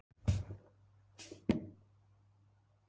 Til Englands, var okkur sagt.